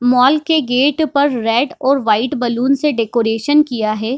Mall के gate पर red और वाईट बलून से डेकोरेशन किया है।